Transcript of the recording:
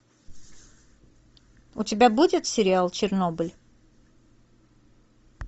у тебя будет сериал чернобыль